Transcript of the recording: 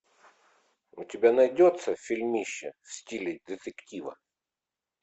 у тебя найдется фильмище в стиле детектива